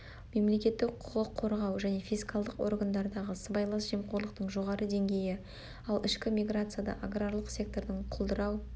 мемлекеттік құқық қорғау және фискалдық органдардағы сыбайлас жемқорлықтың жоғары деңгейі ал ішкі миграцияда аграрлық сектордың құлдырау